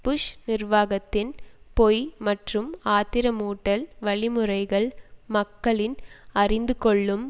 push நிர்வாகத்தின் பொய் மற்றும் ஆத்திரமூட்டல் வழிமுறைகள் மக்களின் அறிந்துகொள்ளும்